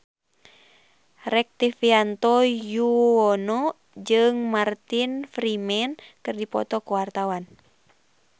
Rektivianto Yoewono jeung Martin Freeman keur dipoto ku wartawan